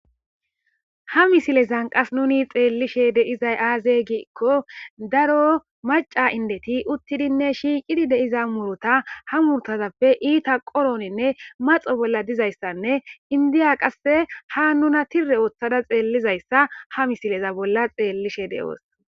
Ha misilezan qas nuni xeellishe deizay aazey giikko daro maca indeti uttidinne shiiqidi deiza muruta ha murtazappe iita qoroninne maxo bolla dizayssanne indiya qasse ha nuna tire ooththada xeellizayssa ha misileza bolla xeellishe de'oos.